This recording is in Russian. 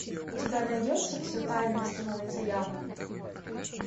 у тебя найдется все тайное становится явным